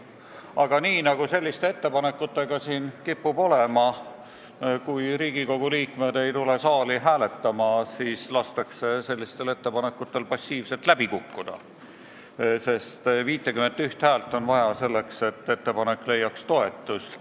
Aga nagu selliste ettepanekutega siin kipub olema, kui Riigikogu liikmed ei tule saali hääletama, siis lastakse ettepanekutel passiivselt läbi kukkuda, sest 51 häält on vaja selleks, et ettepanek leiaks toetust.